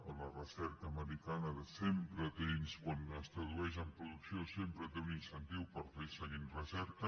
en la recerca americana sempre tens quan es tradueix en producció sempre té un incentiu per fer seguir en recerca